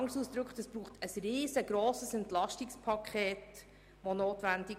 Es wäre ein riesengrosses EP notwendig.